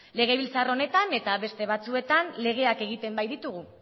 legebiltzar honetan eta beste batzuetan legeak egiten baititugu